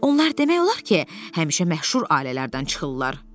Onlar demək olar ki, həmişə məşhur ailələrdən çıxırlar.